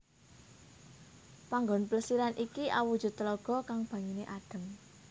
Panggon Plesiran iki awujud telaga kang banyuné adem